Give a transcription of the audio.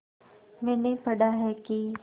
मैंने पढ़ा है कि